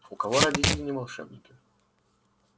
у кого родители не волшебники